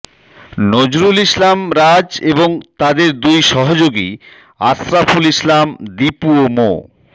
নজরুল ইসলাম রাজ এবং তাদের দুই সহযোগী আশরাফুল ইসলাম দীপু ও মো